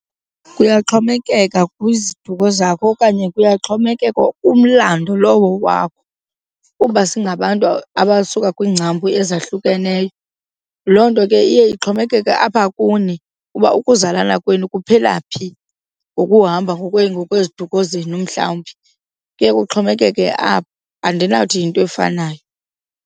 Kuyaxhomekeka kwiziduko zakho okanye kuyaxhomekeka kumlando lowo wakho kuba singabantu abasuka kwiingcambu ezahlukeneyo. Loo nto ke iye ixhomekeke apha kuni uba uzalana kwenu kuphela phi ngokuhamba, ngokweziduko zenu mhlawumbi. Kuye kuxhomekeke apho, andinakuthi yinto efanayo.